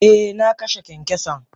Eh na kashe kyankyason.